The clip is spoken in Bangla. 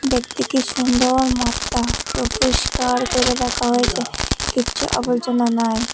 দেখতে কি সুন্দর মাঠটা পুরো পরিষ্কার করে রাখা হয়েছে কিচ্ছু আবর্জনা নাই।